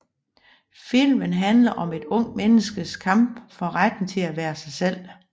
Filmen handler om et ungt menneskes kamp for retten til at være sig selv